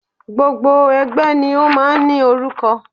Gbogbo ẹgbẹ́ ni o máà ń í orúkọ.